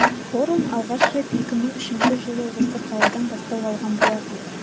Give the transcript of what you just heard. форум алғаш рет екі мың үшінші жылы осы қаладан бастау алған болатын